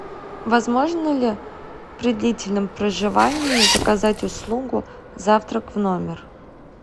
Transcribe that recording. возможно ли при длительном проживании заказать услугу завтрак в номер